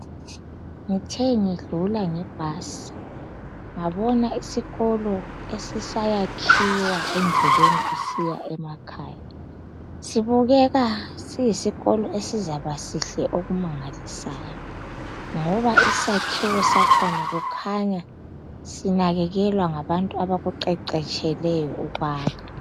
Ngithe ngidlula ngebhasi ngabona isikolo esisayakhiwa endleleni sisiya emakhaya sibukeka siyisikolo esizaba sihle okumangalisayo ngoba isakhiwo sakhona kukhanya sinakekelwa ngabantu abakuqeqetsheleyo ukwakha.